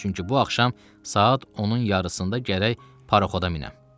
Çünki bu axşam saat 10-un yarısında gərək paraxoda minəm.